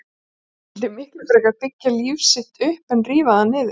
Hann vildi miklu frekar byggja líf sitt upp en rífa það niður.